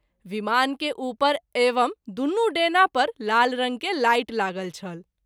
विमान के उपर एवं दुनू डैना पर लाल रंग के लाइट लागल छल।